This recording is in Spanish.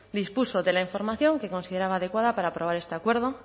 dispuso de la información que consideraba adecuada para aprobar este acuerdo